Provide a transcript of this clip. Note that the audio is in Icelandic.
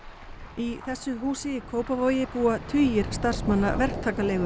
í þessu húsi í Kópavogi búa tugir starfsmanna